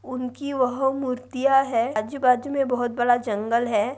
उनकी वह मूर्तिया है आजू-बाजू मे बहुत बड़ा जंगल है।